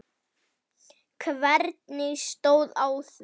En hvernig stóð á því?